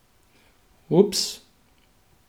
Ups.